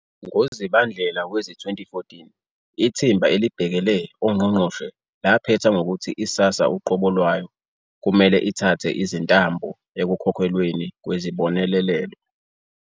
NgoZibandlela wezi-2014, ithimba elibhekele ongqongqoshe laphetha ngokuthi iSASSA uqobo lwayo kumele ithathe izintambo ekukhokhelweni kwezibonelelo.